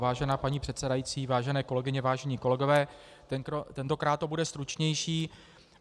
Vážená paní předsedající, vážené kolegyně, vážení kolegové, tentokrát to bude stručnější.